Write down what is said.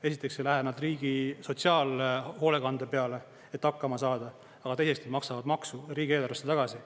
Esiteks ei lähe nad riigi sotsiaalhoolekande peale, et hakkama saada, aga teiseks, nad maksavad maksu riigieelarvesse tagasi.